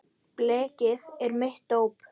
Blekið er mitt dóp.